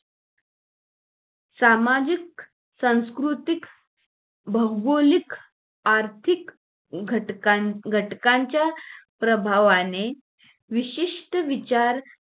सामाजिक, सांस्कृतिक, भौगोलिक, आर्थिक घटकां घटकांच्या प्रभावाने विशिष्ट विचार